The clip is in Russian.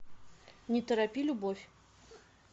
не торопи любовь